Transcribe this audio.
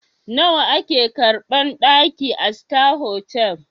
Nawa a ke karɓan ɗaki a sita hotal?